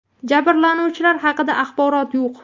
Jabrlanuvchilar haqida axborot yo‘q.